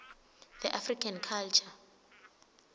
the african culture